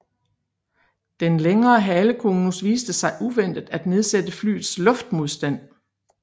Den længere halekonus viste sig uventet at nedsætte flyets luftmodstand